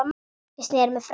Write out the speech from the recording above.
Ég sneri mér frá henni.